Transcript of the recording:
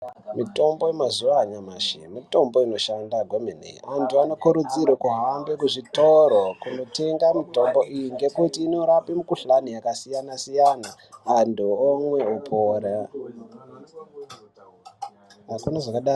Mitombo yemauzuva anyamashi mitombo inoshanda kwemene. Anty anokurudzirwe kuhambe kuzvitoro kundotenga mitombo iyi ngekuti inorape mikuhlani yakasiyana-siyana antu omwa opora.